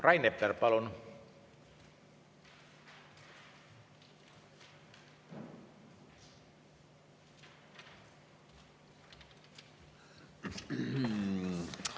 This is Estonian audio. Rain Epler, palun!